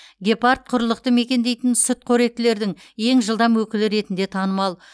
гепард құрлықты мекендейтін сүтқоректілердің ең жылдам өкілі ретінде танымал